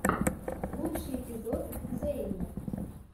лучший эпизод зэйн